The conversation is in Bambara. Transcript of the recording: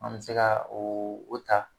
An bɛ se ka o o ta.